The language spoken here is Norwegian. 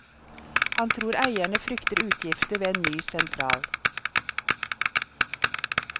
Han tror eierne frykter utgifter ved en ny sentral.